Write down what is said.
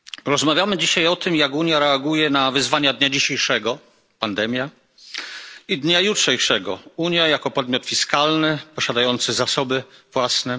Rozmawiamy dzisiaj o tym, jak Unia reaguje na wyzwania dnia dzisiejszego pandemia i dnia jutrzejszego Unia jako podmiot fiskalny posiadający zasoby własne.